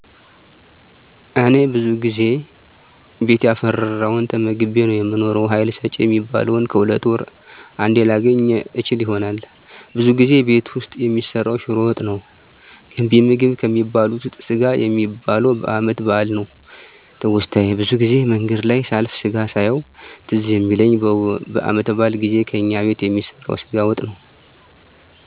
እኔ ብዙ ጊዜ ቤት ያፈራዉን ተመግቤ ነዉ የምኖረዉ ሀይል ሰጭ የሚባሉትን ከሁለት ወር አንዴ ላገኝ እችል ይሆናል ብዙ ጊዜ ቤት ዉስጥ የሚሰራዉ ሽሮ ወጥ ነዉ ገንቢ ምግብ ከሚባሉት ዉስጥ ስጋ የሚበላዉ በአመት በአል ነዉ ትዉስታየ ብዙ ጊዜ መንገድ ላይ ሳልፍ ስጋ ሳየዉ ትዝ የሚለኝ በአመት በአል ጊዜ ከእኛ ቤት የሚሰራዉ ስጋ ወጥ ነዉ